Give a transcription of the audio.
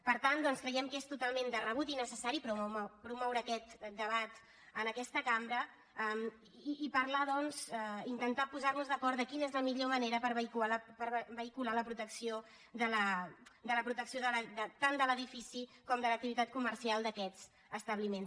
per tant doncs creiem que és totalment de rebut i necessari promoure aquest debat en aquesta cambra i parlar doncs intentar posar nos d’acord en quina és la millor manera per vehicular la protecció tant de l’edifici com de l’activitat comercial d’aquests establiments